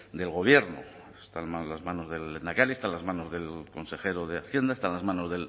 del gobierno está en las manos del lehendakari está en las manos del consejero de hacienda está en las manos